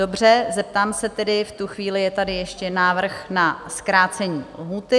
Dobře, zeptám se tedy, v tuto chvíli je tady ještě návrh na zkrácení lhůty?